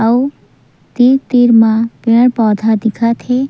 अऊ तीर-तीर म पेड़-पौधा दिखा थे।